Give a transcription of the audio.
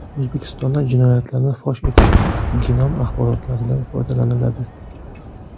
O‘zbekistonda jinoyatlarni fosh etishda genom axborotlaridan foydalaniladi.